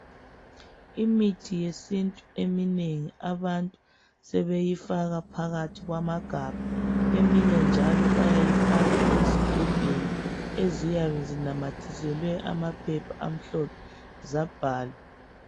Imithi yesintu eminengi abantu sebeyifaka phakathi kwamagamba eminye njalo bayifaka ezigubhini eziyabe inamathiselwe amaphepha amhlophe zabhalwa.